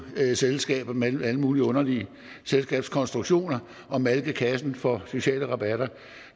selskaber med alle mulige underlige selskabskonstruktioner og malke kassen for sociale rabatter